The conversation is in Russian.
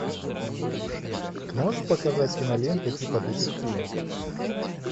можешь показать киноленту типа детектива